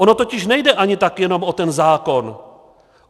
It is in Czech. Ono totiž nejde ani tak jenom o ten zákon.